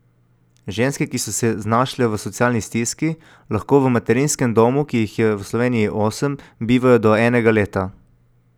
Ženske, ki so se znašle v socialni stiski, lahko v materinskem domu, ki jih je v Sloveniji osem, bivajo do enega leta.